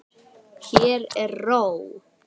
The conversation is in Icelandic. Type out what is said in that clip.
Hér er ró.